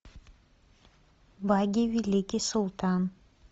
баги великий султан